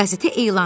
Qəzetə elan ver.